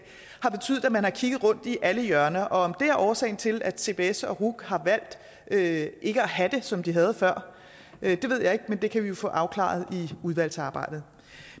man har kigget rundt i alle hjørner om det er årsagen til at cbs og ruc har valgt ikke ikke at have sprogcentre som de havde før ved jeg ikke men det kan vi jo få afklaret i udvalgsarbejdet